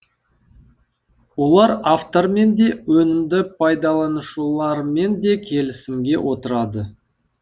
олар автормен де өнімді пайдаланушылармен де келісімге отырады